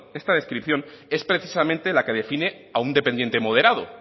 esta descripción es precisamente la que define a un dependiente moderado